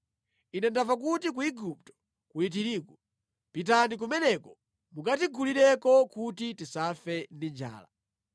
Ine ndamva kuti ku Igupto kuli tirigu. Pitani kumeneko mukatigulireko kuti tisafe ndi njala.”